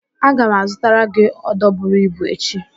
Aga m azụtara gị ódō buru ibu echi